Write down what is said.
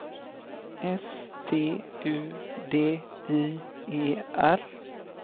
S T U D I E R